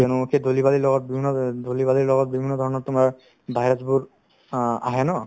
কিয়নো সেই ধূলি-বালিৰ লগত বিভিন্ন ধৰ ধূলি-বালিৰ লগত বিভিন্ন ধৰণৰ তোমাৰ virus বোৰ অ আহে ন